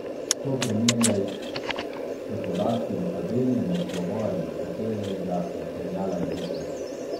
To primerjaj s podatki v tabeli in odgovori, iz katerega materiala je žica.